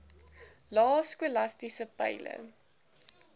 lae skolastiese peile